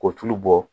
Ko tulu bɔ